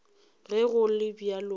ge go le bjalo a